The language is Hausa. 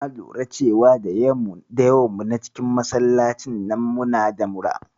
Na lura da cewa da yawan mu na cikin masallacin nan muna da mura.